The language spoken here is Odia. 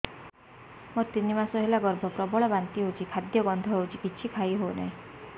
ମୋର ତିନି ମାସ ହେଲା ଗର୍ଭ ପ୍ରବଳ ବାନ୍ତି ହଉଚି ଖାଦ୍ୟ ଗନ୍ଧ ହଉଚି କିଛି ଖାଇ ହଉନାହିଁ